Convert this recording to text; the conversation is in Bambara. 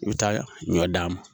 I bɛ taa ɲɔ d'a ma